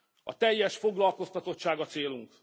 A teljes foglalkoztatottság a célunk.